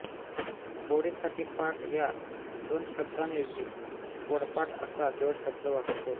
पोळीसाठी पाट या दोन शब्दांऐवजी पोळपाट असा जोडशब्द वापरतो